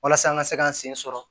Walasa an ka se k'an sen sɔrɔ